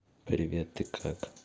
привет ты как